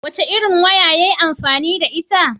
Wace irin waya yayi amfani da ita?